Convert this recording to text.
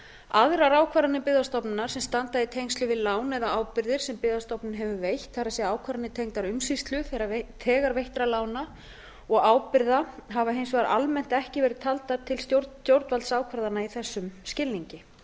aðrar ákvarðanir byggðastofnunar sem standa í tengslum við lán eða ábyrgðir sem byggðastofnun hefur veitt það er ákvarðanir tengdar umsýslu þegar veittra lána og ábyrgða hafa hins vegar almennt ekki verið taldar til stjórnvaldsákvarðana í þessum skilningi